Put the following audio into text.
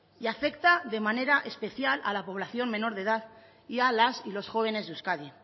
y afecta de manera especial a la población menor de edad y a las y los jóvenes de euskadi